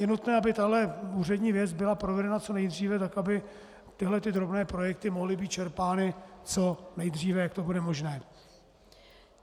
Je nutné, aby tahle úřední věc byla provedena co nejdříve tak, aby tyhle drobné projekty mohly být čerpány co nejdříve, jak to bude možné.